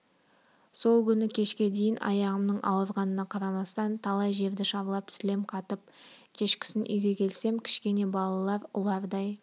сол күні кешке дейін аяғымның ауырғанына қарамастан талай жерді шарлап сілем қатып кешкісін үйге келсем кішкене балалар ұлардай